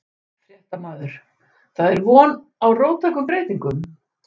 Fréttamaður: Það er von á róttækum breytingum?